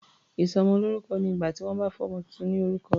Ìsọmọlórúkọ ni ìgbà tí wọ́n bá fún ọmọ tuntun ní orúkọ.